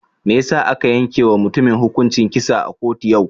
Mai yasa aka yanke wa mutumin hukuncin kisa a kotu yau?